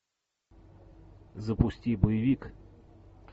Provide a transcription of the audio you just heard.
запусти боевик